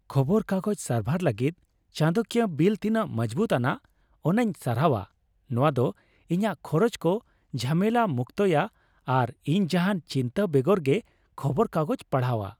ᱠᱷᱚᱵᱚᱨ ᱠᱟᱜᱚᱡᱽ ᱥᱟᱨᱵᱷᱟᱨ ᱞᱟᱹᱜᱤᱫ ᱪᱟᱸᱫᱚᱠᱤᱭᱟᱹ ᱵᱤᱞ ᱛᱤᱱᱟᱹᱜ ᱢᱚᱡᱽᱵᱩᱛᱼᱟᱱᱟᱜ ᱚᱱᱟᱧ ᱥᱟᱨᱦᱟᱣᱼᱟ ᱾ ᱱᱚᱶᱟ ᱫᱚ ᱤᱧᱟᱹᱜ ᱠᱷᱚᱨᱚᱪ ᱠᱚ ᱡᱷᱟᱢᱮᱞᱟ ᱢᱩᱠᱛᱚᱭᱟ ᱟᱨ ᱤᱧ ᱡᱟᱦᱟᱱ ᱪᱤᱱᱛᱟᱹ ᱵᱮᱜᱚᱨ ᱜᱮ ᱠᱷᱚᱵᱚᱨ ᱠᱟᱜᱚᱡᱽ ᱯᱟᱲᱦᱟᱣᱼᱟ ᱾